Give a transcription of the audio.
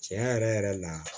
Tiɲɛ yɛrɛ yɛrɛ la